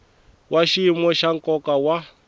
wa xiyimo xa nkoka wa